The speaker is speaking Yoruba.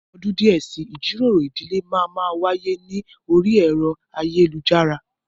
Ní ọdún díẹ̀ si, ìjíròrò ìdílé máa má wáyé ní orí ẹ̀rọ ayélujara